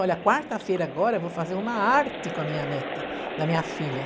Olha, quarta-feira agora eu vou fazer uma arte com a minha neta, da minha filha.